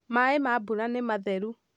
maĩ ma mbura nĩ matheru